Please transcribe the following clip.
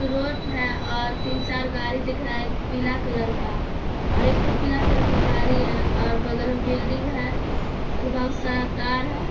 Road है और तीन चार गाड़िया दिख रहा है पीला कलर का और एक ठो पीला कलर का गाड़ी है आ बगल में बिल्डिंग है और बहुत सारा तार है।